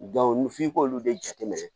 f'i k'olu de jateminɛ